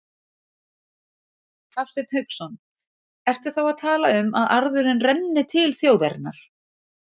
Hafsteinn Hauksson: Ertu þá að tala um að arðurinn renni til þjóðarinnar?